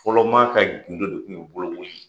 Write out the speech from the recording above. Fɔlɔ maa ka gundo de kun ye bolokoli ye.